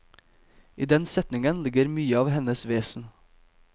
I den setningen ligger mye av hennes vesen.